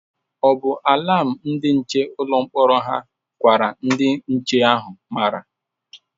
O bu alam ndi nche ụlọ mkpọrọ hà gwara ndị nche ahụ mara?